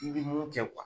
I bɛ mun kɛ